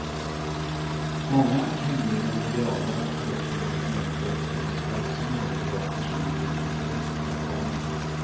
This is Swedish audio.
Många kringliggande gravar har också blivit nedklottrade och platsen övervakas nu dygnet runt av kameror.